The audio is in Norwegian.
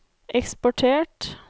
eksportert